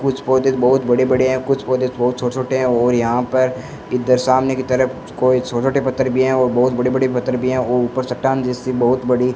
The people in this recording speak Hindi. कुछ पौधे बहोत बड़े बड़े है कुछ पौधे बहोत छोटे छोटे है और यहां पर इधर सामने की तरफ कोई छोटे छोटे पत्थर भी है और बहोत बड़े बड़े पत्थर भी है और ऊपर चट्टान जैसी बहोत बड़ी --